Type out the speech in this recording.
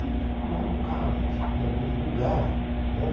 e procurar local, em algum lugar, não é